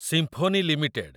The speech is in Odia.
symphony limited